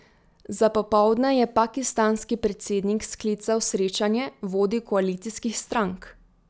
Za popoldne je pakistanski predsednik sklical srečanje vodij koalicijskih strank.